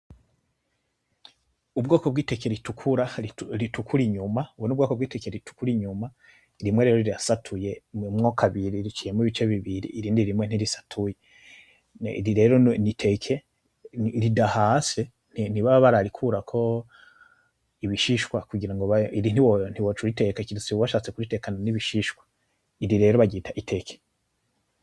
Ubwoko bw'iteke ritukura ritukura inyuma, ubu n'ubwoko bw'iteke ritukura inyuma, rimwe rero rirasatuyemwo kabiri riciyemwo ibice bibiri, irindi rimwe ntirisatuye, iri rero n'iteke ridahase ntibaba bararikurako ibishishwa kugira ngo, iri ntiwo, ntiwoca uriteka kiritse washatse kuritekana n'ibishishwa, iri rero baryitwa iteke.